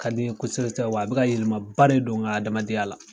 Ka di n ye kosɛbɛ sɛbɛ wa a bɛ ka yɛlɛmaba de don n ka adamadenya la.